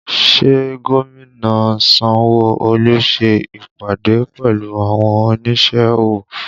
Ṣé gómìnà Sanwo Olu ṣe ìpàdé pẹ̀lú àwọn onísẹ́ ọwọ́